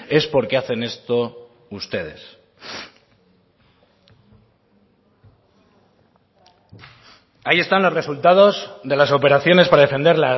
es por qué hacen esto ustedes ahí están los resultados de las operaciones para defender